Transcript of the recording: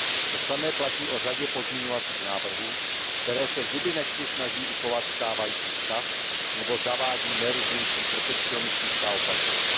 To samé platí o řadě pozměňovacích návrhů, které se zuby nehty snaží uchovat stávající stav nebo zavádí nejrůznější protekcionistická opatření.